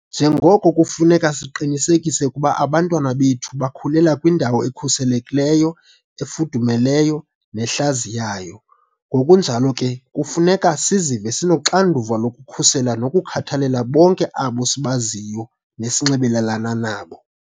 Njengoko kufuneka siqinisekise ukuba abantwana bethu bakhulela kwindawo ekhuselekileyo, efudumeleyo nehlaziyayo, ngokunjalo ke kufuneka sizive sinoxanduva lokukhusela nokukhathalela bonke abo sibaziyo nesinxibelelana nabo.